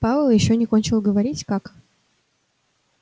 пауэлл ещё не кончил говорить как